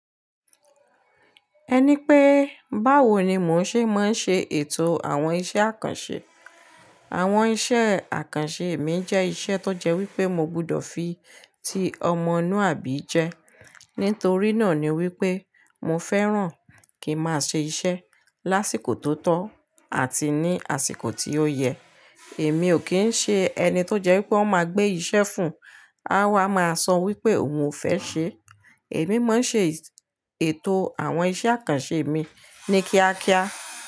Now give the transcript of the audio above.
Ẹni pé báwo ni mò ń ṣe máa ń ṣe ètò àwọn iṣẹ́ àkànṣe. Àwọn iṣẹ́ àkànṣe mi jẹ́ iṣẹ́ tó jẹ́ wípé mo gbọdọ̀ fi ti ọmọluàbí jẹ. Nítorí náà ni wípé mo fẹ́ràn kí máa ṣe iṣẹ́ lásìkò tó tọ́ àti ní àsìkò tí ó yẹ. Èmi ò kí ń ṣe ẹni tó jẹ́ wípé ọ́ máa gbé iṣẹ́ fún, á wá máa sọ wípé òun ò fẹ́ ṣe. Èmi máa ń ṣe ètò àwọn iṣẹ́ àkànṣe mi ní kíákíá.